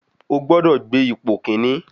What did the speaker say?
Ó gbọ́dọ̀ gbé ipò kíní.